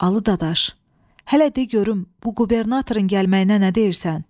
Alı dadaş, hələ de görüm bu qubernatorun gəlməyinə nə deyirsən?